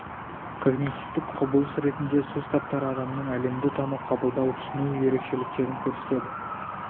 когнитивтік құбылыс ретінде сөз таптары адамның әлемді тану қабылдау түсіну ерекшеліктерін көрсетеді